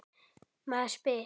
Maður spyr sig.